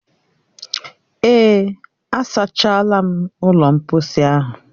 Èè, a sachaala ụlọ mkposi ahụ